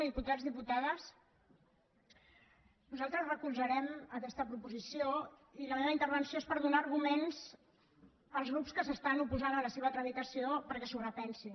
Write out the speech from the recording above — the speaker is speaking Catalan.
diputats diputades nosaltres recolzarem aquesta proposició i la meva intervenció és per donar arguments als grups que s’oposen a la seva tramitació perquè s’ho repensin